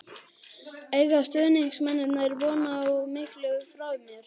Eiga stuðningsmennirnir von á miklu frá mér?